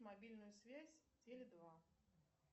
мобильную связь теле два